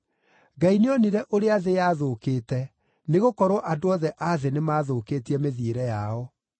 Ngai nĩonire ũrĩa thĩ yathũkĩte, nĩgũkorwo andũ othe a thĩ nĩmathũkĩtie mĩthiĩre yao.